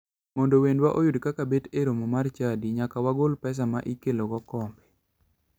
Mondo wendwa oyud kaka bet e romo mar chadi, nyaka wagol pesa ma ikelogo kombe.